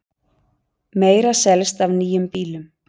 Meira selst af nýjum bílum